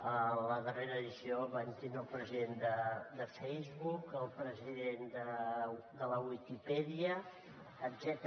a la darrera edició vam tindre el president de facebook el president de la viquipèdia etcètera